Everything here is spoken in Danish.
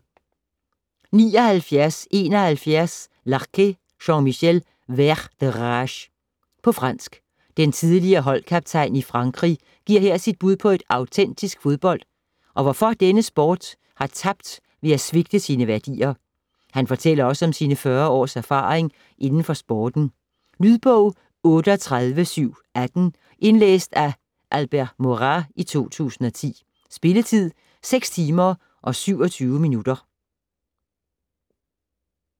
79.71 Larqué, Jean-Michel: Vert de rage På fransk. Den tidligere holdkaptajn i Frankrig giver her sit bud på autentisk fodbold, og hvorfor denne sport har tabt ved at svigte sine værdier. Han fortæller også om sine fyrre års erfaring inden for sporten. Lydbog 38718 Indlæst af Albert Morard, 2010. Spilletid: 6 timer, 22 minutter.